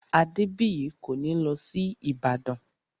Adébìyí kò ní lọ sí Ìbàdàn